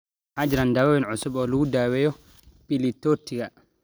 Ma jiraan daawayn cusub oo lagu daweeyo pili tortika?